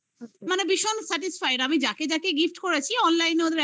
মানে ভীষণ satisfied ।আমি যাকে যাকে gift করেছি। online